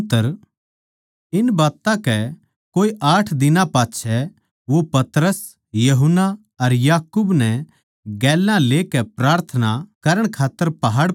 इन बात्तां कै कोए आठ दिनां पाच्छै वो पतरस यूहन्ना अर याकूब नै गेल्या लेकै प्रार्थना करण खात्तर पहाड़ पै गया